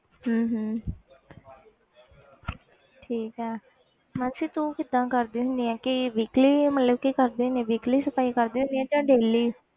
ਹਮ ਹਮ ਠੀਕ ਹੈ ਮਾਨਸੀ ਤੂੰ ਕਿੱਦਾਂ ਕਰਦੀ ਹੁੰਦੀ ਆਂ ਕਿ weakly ਮਤਲਬ ਕਿ ਕਰਦੀ ਹੁੰਦੀ ਆਂ weakly ਸਫ਼ਾਈ ਕਰਦੀ ਹੁੰਦੀ ਆਂ ਜਾਂ daily